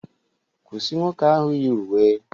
Kwụsị nwoke ahụ yi uwe